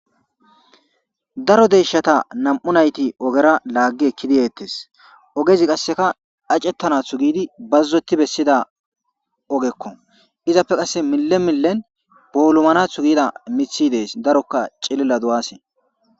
Daro deeshata nam'u nayti ogera laaggi ekki diyettes ogezi qasseka acettanathu giidi bazzotti bessida ogekko izappe qasse mille millen boolumanathu giida mithi dees darokka cilila du'asee